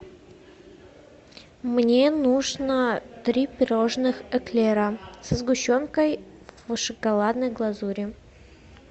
мне нужно три пирожных эклера со сгущенкой в шоколадной глазури